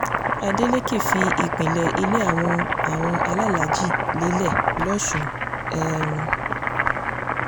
adeleke fi ìpilẹ̀ ilé àwọn àwọn alálàájí lélẹ̀ lọ́sùn um